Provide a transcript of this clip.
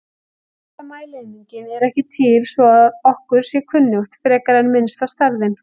Minnsta mælieiningin er ekki til svo að okkur sé kunnugt, frekar en minnsta stærðin.